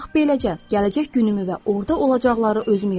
Bax beləcə gələcək günümü və orda olacaqları özüm yaradıram.